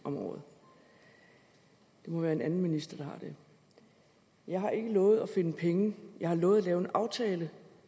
om året det må være en anden minister der har det jeg har ikke lovet at finde penge jeg har lovet at lave en aftale